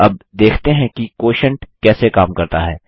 अब देखते हैं कि क्वोटिएंट कैसे काम करता है